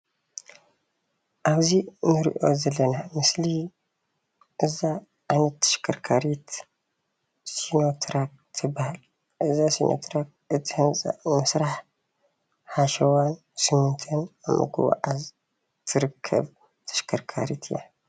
ኣብዙይ አንሪኦ ዘለና ምስሊ እዛ ዓይነት ተሽከርካሪት ሲኖትራክ ትበሃል። እዛ ሲኖትራክ ህንፃ ንመስርሒ ሓሸዋን ሲሚንቶን ንምጉዕዓዝ ትርከብ ተሽከርካሪት እያ።